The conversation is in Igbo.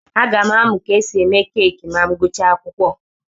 Aga m amụ ka esi eme keeki ma m gụchaa akwụkwọ.